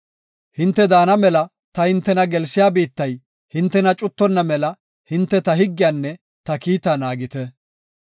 “Hinte daana mela ta hintena gelsiya biittay hintena cuttonna mela hinte ta higgiyanne ta kiitaa naagite.